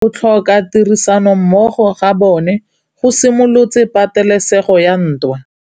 Go tlhoka tirsanommogo ga bone go simolotse patêlêsêgô ya ntwa.